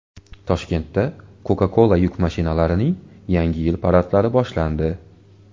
Toshkentda Coca-Cola yuk mashinalarining Yangi yil paradlari boshlandi.